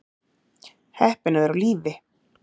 Heppin að vera á lífi